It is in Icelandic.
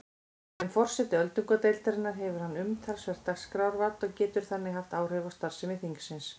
Sem forseti öldungadeildarinnar hefur hann umtalsvert dagskrárvald og getur þannig haft áhrif á starfsemi þingsins.